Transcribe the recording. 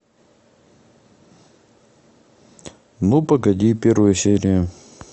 ну погоди первая серия